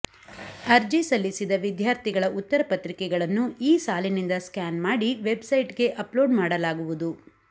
ಅರ್ಜಿ ಸಲ್ಲಿಸಿದ ವಿದ್ಯಾರ್ಥಿಗಳ ಉತ್ತರ ಪತ್ರಿಕೆಗಳನ್ನು ಈ ಸಾಲಿನಿಂದ ಸ್ಕ್ಯಾನ್ ಮಾಡಿ ವೆಬ್ಸೈಟ್ಗೆ ಅಪ್ಲೋಡ್ ಮಾಡಲಾಗುವುದು